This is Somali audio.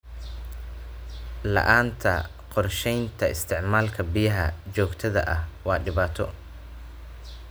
La'aanta qorshaynta isticmaalka biyaha joogtada ah waa dhibaato.